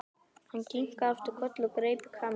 Hann kinkaði aftur kolli og greip í Kamillu.